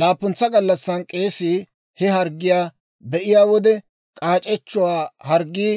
Laappuntsa gallassan k'eesii he harggiyaa; be'iyaa wode k'aac'echchuwaa harggii